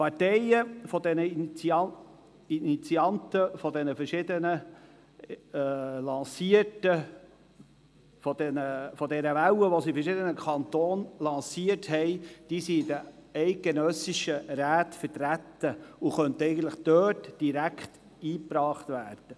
Die Parteien oder Initianten der Welle, die sie in verschiedenen Kantonen lanciert haben, sind in den eidgenössischen Räten vertreten und könnten sich eigentlich dort direkt einbringen.